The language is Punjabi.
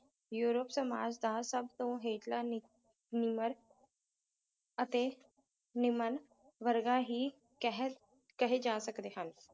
ਯੂਰੋਪ ਸਮਾਜ ਦਾ ਸਭ ਤੋਂ ਹੇਠਲਾ ਨੀ ਨਿਮਰ ਅਤੇ ਨਿਮਨ ਵਰਗਾ ਹੀ ਕਹਿ ਕਹੇ ਜਾ ਸਕਦੇ ਹਨ